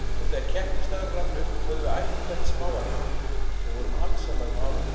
Og þegar keppnisdagurinn rann upp höfðum við æft hvert smáatriði og vorum alsælar með árangurinn.